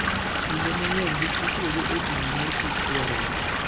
Kinde mang'eny, gik mitiyogo e pimo mor kich dwarore.